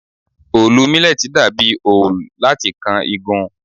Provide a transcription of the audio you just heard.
Òòlù mílẹ́tì dà bí òòul láti kan igun.